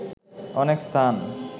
অনেক স্থান